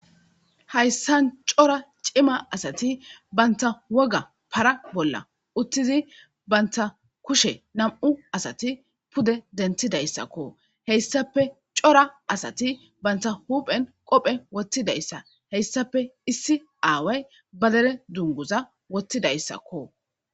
Hayssan cora cima asati banta woga para bolla uttizi banta kushe nam7u asati pude dentidayssakko heyssape cora asati banta huphen qophe wottidayssa heyssape issi aaway badere dunguza wottidayssakko.